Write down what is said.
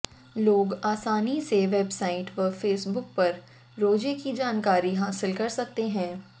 लोग आसानी से वेबसाइट व फेसबुक पर रोजे की जानकारी हासिल कर सकते हैं